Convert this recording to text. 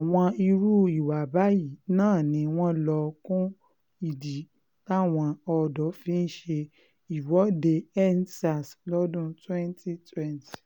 àwọn irú ìwà báyìí náà ni wọ́n lọ kún ìdí táwọn ọ̀dọ́ fi ṣe ìwọ́deendsars lọ́dún 2020